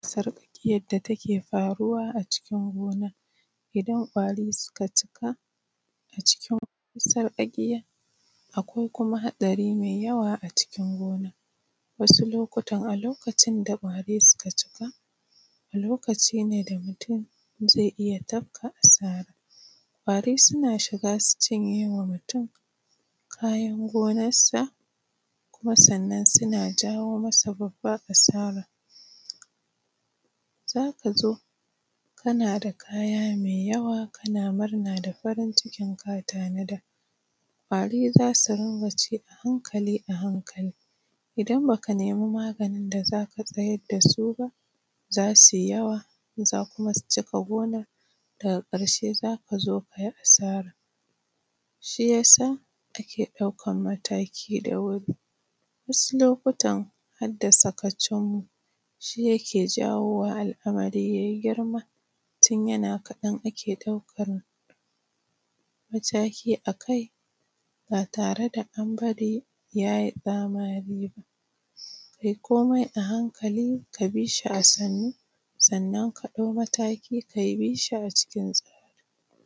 sarƙaƙiyar da ta ke faaruwa a cikin gonar, idan ƙwari suka cika, a cikin sarƙaƙiyar akwai kuma haɗari mai yawa a cikin gonar. Wasu lokutan a lokacin da ƙwari suka cika, a lokacin ne mutun zai iya tafka asaara. Ƙwari suna shigaa su cinye wa mutum kayan gonarsa, kuma sannan suna jawo masa babbar asaara. Zaa ka zo kana da kaya mai yawa kana murnaa da farin cikin kaa tanada, ƙwari za su rinƙa ci a hankali-a-hankali. Idan ba ka nemi maganin da za ka tsayar da su ba, za su yi yawa, za kuma su taɓa gonar daga ƙarshe za ka zo ka yi asara. shi ya sa ake ɗaukan mataki da wuri. Wasu lokutan har da sakacin mu. shi yake jawowa al’amari yai girma tun yana kaɗan ake ɗaukar mataki a kai ba tare da an bari ya yi ƙamari ba. Kai komai a hankali ka bi shi a sannu, sannan ka ɗau mataki.